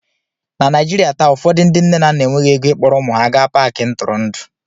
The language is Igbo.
na Naijiria taa ụfọdụ ndị nne na nna enweghị ego ịkpọrọ ụmụ ha gaa Paakị ntụrụndụ